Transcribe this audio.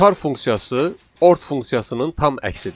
Char funksiyası ort funksiyasının tam əksidir.